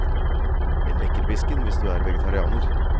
En lekkerbisken hvis du er vegetarianer.